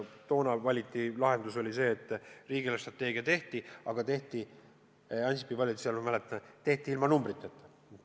Toona valitud lahendus oli see, et riigi eelarvestrateegia tehti, aga Ansipi valitsus tegi selle, ma mäletan, ilma numbriteta.